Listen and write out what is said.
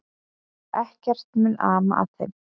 Ekkert mun ama að þeim.